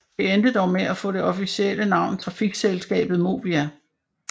Det endte dog med at få det officielle navn Trafikselskabet Movia